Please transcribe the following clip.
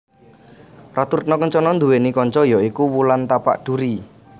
Ratu Retna Kencana duwèni kanca ya iku Wulan Tapak Duri